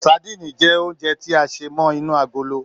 Sadíìnì jẹ́ oúnjẹ tí a sé mọ́ inú agolo